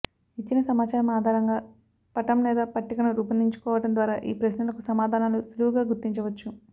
ఇచ్చిన సమాచారం ఆధారంగా పటం లేదా పట్టికను రూపొందించుకోవడం ద్వారా ఈ ప్రశ్నలకు సమాధానాలు సులువుగా గుర్తించవచ్చు